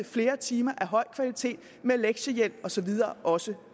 flere timer af høj kvalitet med lektiehjælp og så videre også